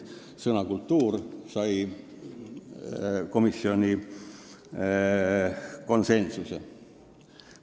Sõna "kultuuriline" sai komisjonis konsensusliku heakskiidu.